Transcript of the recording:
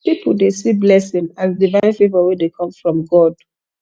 pipo dey see blessing as divine favour wey dey come from god